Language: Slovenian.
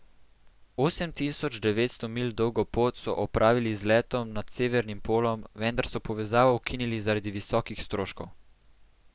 Osem tisoč devetsto milj dolgo pot so opravili z letom nad severnim polom, vendar so povezavo ukinili zaradi visokih stroškov.